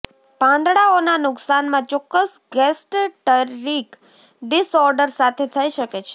પાંદડાઓના નુકશાનમાં ચોક્કસ gastric disorders સાથે થઇ શકે છે